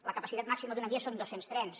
la capacitat màxima d’una via són dos cents trens